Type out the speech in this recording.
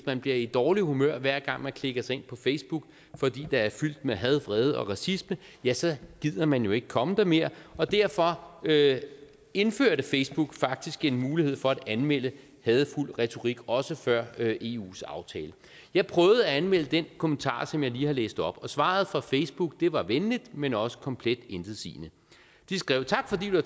man bliver i dårligt humør hver gang man klikker sig ind på facebook fordi det er fyldt med had vrede og racisme ja så gider man jo ikke komme der mere og derfor indførte facebook faktisk en mulighed for at anmelde hadefuld retorik også før eus aftale jeg prøvede at anmelde den kommentar som jeg lige har læst op og svaret fra facebook var venligt men også komplet intetsigende de skrev tak fordi du